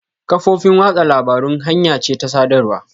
Kafofin watsa labarun hanya ce ta sadarwa.